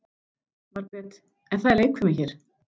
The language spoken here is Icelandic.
Margrét: En það er leikfimi hér.